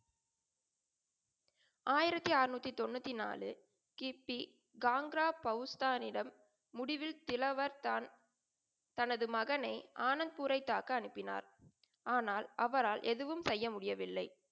ஆயிரத்தி அறநூத்தி தொண்ணூத்தி நாளு கீர்த்தி காங்கிரா பௌஸ்தாரிடம் முடிவில் சிலவர்த் தான் தனது மகனை ஆனந்த்பூரை தாக்க அனுப்பினார். ஆனால் அவரால் எதுவும் செய்ய முடியவில்லை.